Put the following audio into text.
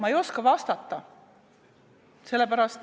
Ma ei oska vastata.